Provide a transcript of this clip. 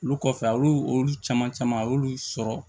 Olu kɔfɛ a y'olu olu caman caman a y'olu sɔrɔ